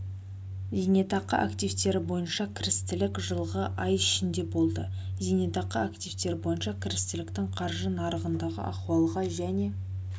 зейнетақы активтері бойынша кірістілік жылғы ай ішінде болды зейнетақы активтері бойынша кірістіліктің қаржы нарығындағы ахуалға және